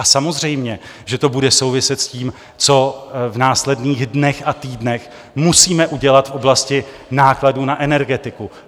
A samozřejmě že to bude souviset s tím, co v následných dnech a týdnech musíme udělat v oblasti nákladů na energetiku.